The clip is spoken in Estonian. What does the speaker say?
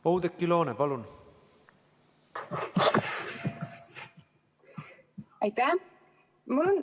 Oudekki Loone, palun!